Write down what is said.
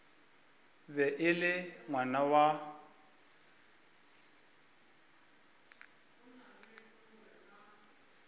be e le ngwana wa